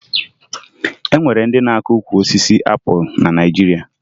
O nwere ndị na-akụ ukwu osisi apụlụ na Naịjirịa